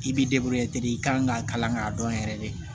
I b'i i kan k'a kalan k'a dɔn yɛrɛ de